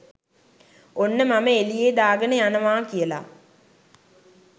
"ඔන්න මම එලියේ දාගන යනවා! " කියලා.